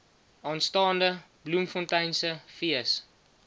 aanstaande bloemfonteinse fees